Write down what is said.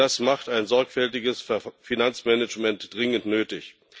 Das macht ein sorgfältiges Finanzmanagement dringend nötig.